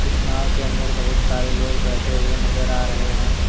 इस नाव के अंदर बहुत सारे लोग बैठे हुवे नजर आ रहे हैं।